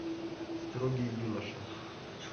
строгий юноша